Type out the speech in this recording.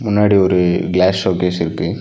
முன்னாடி ஒரு glass showcase இருக்கு.